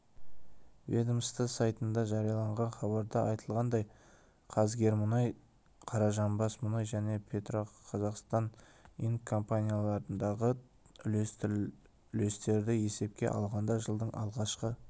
ведомство сайтында жарияланған хабарда айтылғандай қазгермұнай қаражанбасмұнай және петроқазақстан инк компанияларындағы үлестерді есепке алғанда жылдың алғашқы